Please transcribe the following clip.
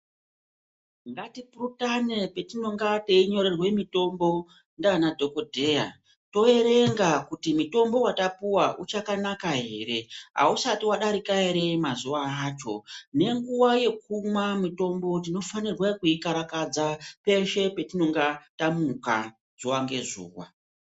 Ngatipurutane patinenge teinyorewa mitombo ndiana dhogodheya toverenga kuti mutombo vatapuwa uchakanaka ere, hausati vadarika ere mazuva acho. Nenguva yekumwa mutombo tinofanirwa kuukarakadza peshe atinonga tamuka zuva ngezuva.